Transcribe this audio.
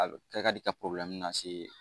A be kɛ ka di ka lase